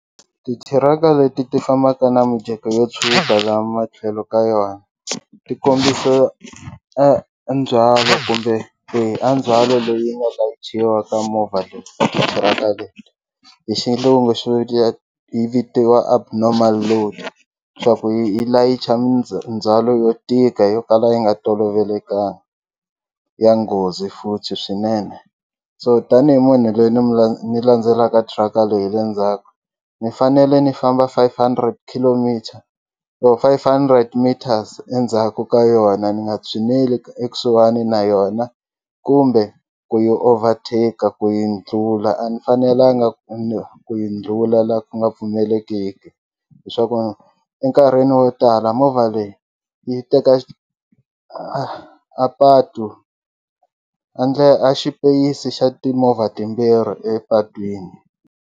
Titiraka leti ti fambaka na mijeko yo tshuka la matlhelo ka yona ti kombisa a ndzhwalo kumbe ndzhwalo leyi nga layichiwa ka movha leyi tiraka leyi hi xilungu yi vitiwa abnormal load swa ku yi yi layicha yo tika yo kala yi nga tolovelekangi ya nghozi futhi swinene so tanihi munhu loyi ni ni landzelaka truck-a leyi hi le ndzhaku ni fanele ni famba five hundred kilometer or five hundred meters endzhaku ka yona ni nga tshineli ekusuhani na yona kumbe ku yi overtake ku yi dlula a ni fanelanga ku ni ku yi dlula la ku nga pfumeleleki hiswaku enkarhini wo tala movha leyi yi teka a patu a a xipeyisi xa timovha timbirhi epatwini.